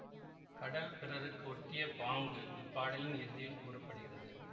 கடல் பிறருக்கு ஓட்டிய பாங்கு இப்பாடலின் இறுதியில் கூற படுகிறது